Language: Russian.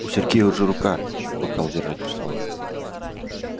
у сергея уже рука бокал держать устала